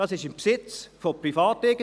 Es ist im Besitz von Privateigentümern.